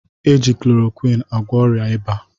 Eji klorokwin agwọ ọrịa ịba